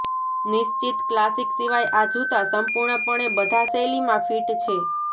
નિશ્ચિત ક્લાસિક સિવાય આ જૂતા સંપૂર્ણપણે બધા શૈલીમાં ફિટ છે